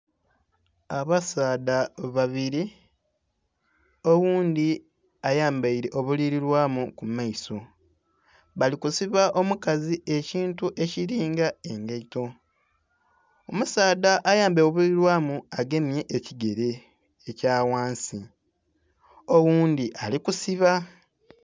Abasaadha babiri oghundhi ayambaire obulibilwamu ku maiso bali kusiba omukazi ekintu ekili nga engaito, omusaadha ayambaire obuibilwamu agemye ekigere ekya ghansi oghundhi ali kusiba.